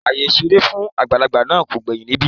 Àyè ìṣeré fún àgbàlagbà náà kò gbẹ́yìn níbẹ̀